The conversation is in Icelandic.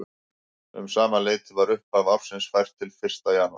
Um sama leyti var upphaf ársins fært til fyrsta janúar.